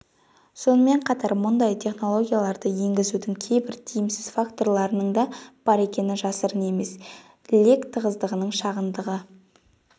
сонымен қатар мұндай технологияларды енгізудің кейбір тиімсіз факторларының да бар екені жасырын емес лек тығыздығының шағындығы